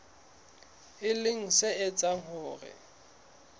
e leng se etsang hore